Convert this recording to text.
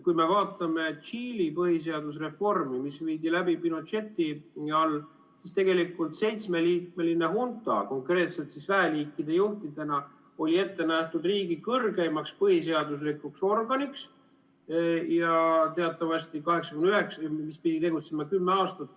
Kui me vaatame Tšiili põhiseadusreformi, mis viidi läbi Pinocheti ajal, siis tegelikult seitsmeliikmeline hunta konkreetselt väeliikide juhtidena oli ette nähtud riigi kõrgeimaks põhiseaduslikuks organiks, mis pidi tegutsema kümme aastat.